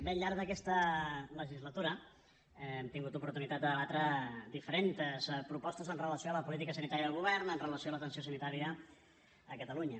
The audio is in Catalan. bé al llarg d’aquesta legislatura hem tingut oportunitat de debatre diferentes propostes amb relació a la política sanitària del govern amb relació a l’atenció sanitària a catalunya